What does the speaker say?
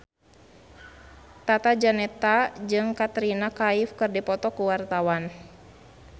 Tata Janeta jeung Katrina Kaif keur dipoto ku wartawan